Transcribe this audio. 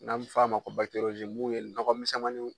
N'an m'a f'a ma ko mun ye nɔgɔmisɛmaniw